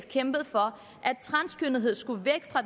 kæmpet for at transkønnethed skulle væk fra